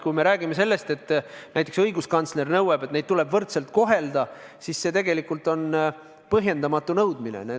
Kui näiteks õiguskantsler nõuab, et neid inimesi tuleb võrdselt kohelda, siis see tegelikult on põhjendamatu nõudmine.